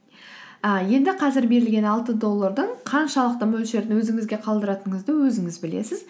і енді қазір берілген алты доллардың қаншалықты мөлшерін өзіңізге қалдыратыныңызды өзіңіз білесіз